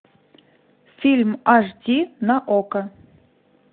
фильм аш ди на окко